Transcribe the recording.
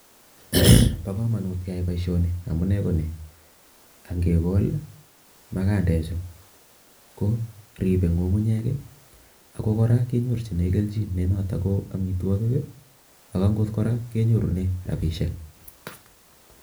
Bo kamanut keyai boisioni amune ko ni, angekol magandechu ko ripei ngungunyek ako kora kenyorchin kelchin nenoto ko amitwokik ako angot kora kenyorune rapishiek.